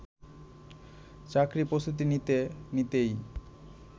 চাকরির প্রস্তুতি নিতে নিতেই